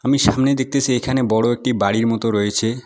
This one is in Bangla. আমি সামনে দেখতেছি এখানে বড়ো একটি বাড়ির মতো রয়েছে।